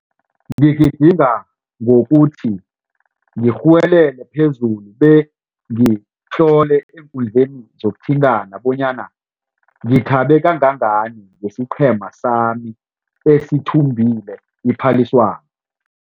Ngigidinga ngokuthi ngirhuwelele phezulu bengitlole eenkundleni zokuthintana bonyana ngithabe kangangani ngesiqhema sami esithumbe iphaliswano.